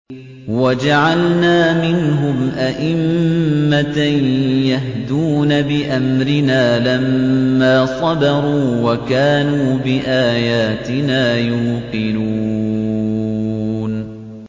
وَجَعَلْنَا مِنْهُمْ أَئِمَّةً يَهْدُونَ بِأَمْرِنَا لَمَّا صَبَرُوا ۖ وَكَانُوا بِآيَاتِنَا يُوقِنُونَ